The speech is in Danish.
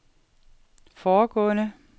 foregående